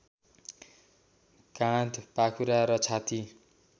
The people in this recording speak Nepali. काँध पाखुरा र छाती